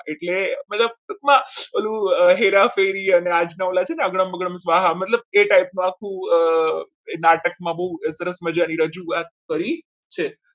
એટલે મતલબ ટૂંકમાં ઓલું હેરાફેરી અને અગડમ બગડમ મતલબ એ type નું આખું નાટકમાં બહુ સરસ મજાની રજૂઆત કરી છે.